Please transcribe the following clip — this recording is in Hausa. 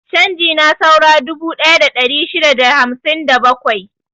Canji na saura dubu ɗaya da ɗari shida da hamsin da bakwai.